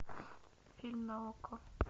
фильм на окко